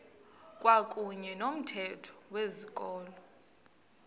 kwakuyne nomthetho wezikolo